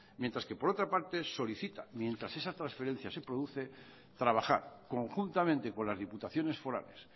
mientras que por otra parte solicita mientras esa transferencia se produce trabajar conjuntamente con las diputaciones forales